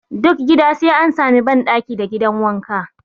Duk gida sai an sami ban ɗaki da gidan wanka